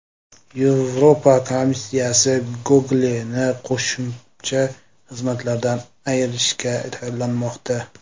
Yevropa komissiyasi Google’ni qo‘shimcha xizmatlardan ayirishga tayyorlanmoqda.